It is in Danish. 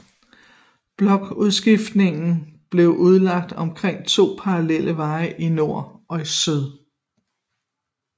Blokudskiftningen blev udlagt omkring to parallelle veje i nord og syd